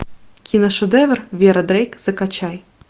киношедевр вера дрейк закачай